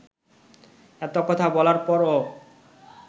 এত কথা বলার পরও